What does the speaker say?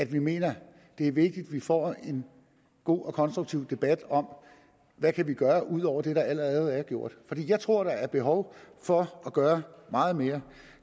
vi mener at det er vigtigt at vi får en god og konstruktiv debat om hvad vi kan gøre ud over det der allerede er gjort jeg tror at der er behov for at gøre meget mere